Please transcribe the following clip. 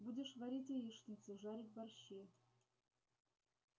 будешь варить яичницу жарить борщи